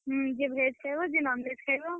ହୁଁ ଯିଏ veg ଖାଇବ ଯିଏ non-veg ଖାଇବ।